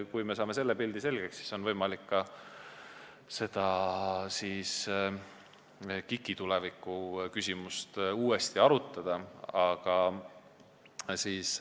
Kui me saame selle pildi selgeks, siis on võimalik ka KIK-i tuleviku küsimust uuesti arutada.